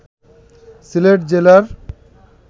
সিলেট জেলার